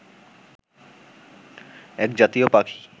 এক জাতীয় পাখি